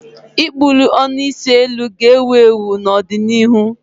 ịkpụli ọnụ isi eluu ga-ewu ewu n'ọdịnihu.